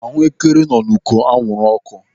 Ahuekere nọ n'uko anwụrụ ọkụ.